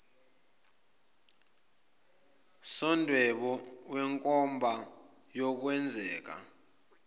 somdwebo wenkomba yokwenzeka